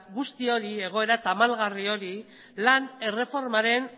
egoera tamalgarri hari lan erreformaren